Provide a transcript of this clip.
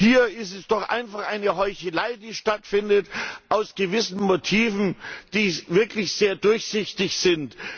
Hier ist es doch einfach eine Heuchelei, die stattfindet, aus gewissen Motiven, die wirklich sehr durchsichtig sind.